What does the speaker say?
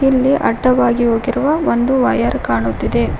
ಇಲ್ಲಿ ಅಡ್ಡವಾಗಿ ಹೋಗಿರುವ ಒಂದು ವೈರ್ ಕಾಣುತ್ತಿದೆ.